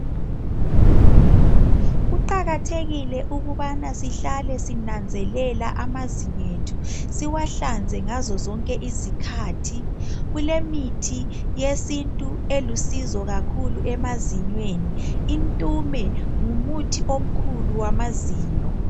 Kuqakathekile ukubana sihlale sinanzelela amazinyethu siwahlanze ngazo zonke izikhathi kulemithi yesintu elusizo kakhulu emazinweni intume ngumuthi omkhulu lwamazinyo.